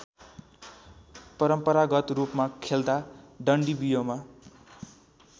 परम्परागतरूपमा खेल्दा डन्डीबियोमा